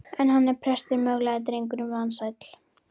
En hann er prestur, möglaði drengurinn vansæll.